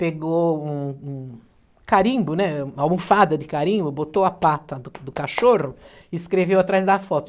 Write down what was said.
Pegou um um carimbo, né, uma almofada de carimbo, botou a pata do do cachorro e escreveu atrás da foto.